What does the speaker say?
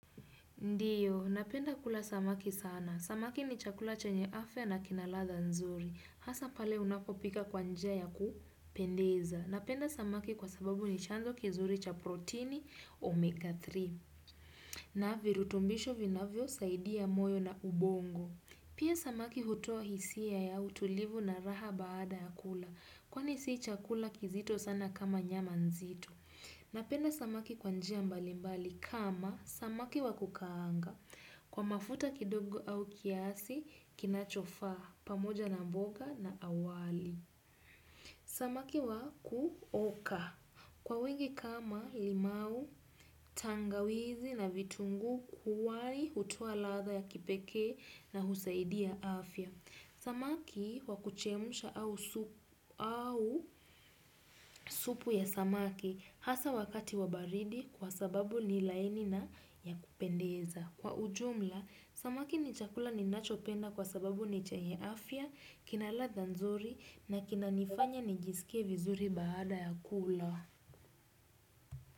Ndiyo, napenda kula samaki sana. Samaki ni chakula chenye afya na kina ladha nzuri. Hasa pale unapopika kwa njia ya kupendeza. Napenda samaki kwa sababu ni chanzo kizuri cha proteini omega tatu. Na virutumbisho vinavyosaidia moyo na ubongo. Pia samaki hutoa hisia ya utulivu na raha baada ya kula. Kwani sii chakula kizito sana kama nyaman zito. Napenda samaki kwa njia mbali mbali kama samaki wakukaanga kwa mafuta kidogo au kiasi kinachofaa pamoja na mboga na wali. Samaki wakuoka kwa wengi kama limau tangawizi na vitunguu kuwari hutoa ladha ya kipekee na husaidia afya. Samaki wakuchemsha au supu ya samaki hasa wakati wa baridi kwa sababu ni laini na ya kupendeza. Kwa ujumla, samaki ni chakula ninachopenda kwa sababu ni chenye afya, kina ladha nzuri na kinanifanya nijisike vizuri baada ya kula.